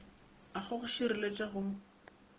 a go go šireletša go